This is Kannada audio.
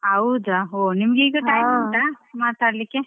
ಹೌದಾ ಹೋ ನಿಮ್ಗೆ ಈಗ time ಉಂಟಾ ಮಾತಾಡ್ಲಿಕ್ಕೆ.